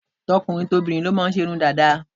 Tokùnrin tobìrin ló máà ń ṣe Irun Dàda